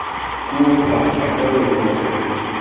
puo pha jaaka wena jaana